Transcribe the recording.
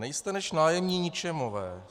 Nejste než nájemní ničemové.